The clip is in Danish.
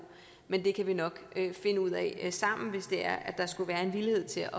men det kan vi nok finde ud af sammen hvis det er at der skulle være en villighed til